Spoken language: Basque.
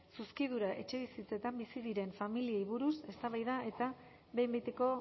zuzkidura etxebizitzetan bizi diren familiei buruz eztabaida eta behin betiko